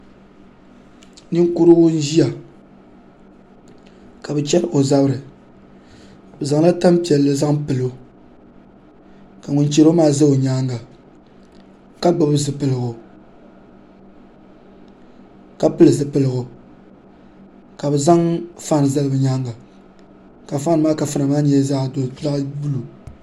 Ninkurigu n ʒiya ka bi chɛri o zabiri bi zaŋla tanpiɛlli zaŋ pilo ka ŋun chɛro maa ʒɛ o nyaanga ka gbubi zipiligu ka pili zipiligu ka bi zaŋ faan zali bi nyaanga ka faan maa kafuna maa nyɛ zaɣ buluu